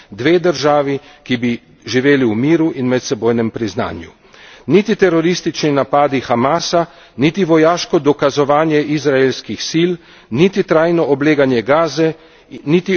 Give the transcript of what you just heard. Niti teroristični napadi Hamasa, niti vojaško dokazovanje izraelskih sil, niti trajno obleganje Gaze, niti okupacija Zahodnega brega na poti do miru niso sprejemljivi.